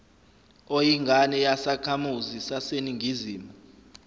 oyingane yasekhamuzi saseningizimu